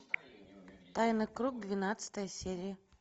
тайный круг двенадцатая серия